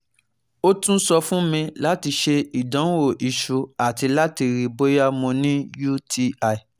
o tun sọ fun mi lati ṣe idanwo iṣu lati rii boya Mo ni UTI